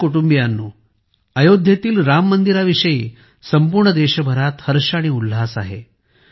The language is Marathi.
माझ्या कुटुंबीयांनो अयोध्येतील राम मंदिराविषयी संपूर्ण देशभरात हर्ष आणि उल्लास आहे